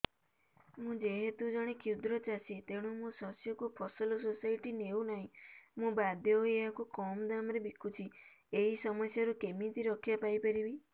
ମୁଁ ଯେହେତୁ ଜଣେ କ୍ଷୁଦ୍ର ଚାଷୀ ତେଣୁ ମୋ ଶସ୍ୟକୁ ଫସଲ ସୋସାଇଟି ନେଉ ନାହିଁ ମୁ ବାଧ୍ୟ ହୋଇ ଏହାକୁ କମ୍ ଦାମ୍ ରେ ବିକୁଛି ଏହି ସମସ୍ୟାରୁ କେମିତି ରକ୍ଷାପାଇ ପାରିବି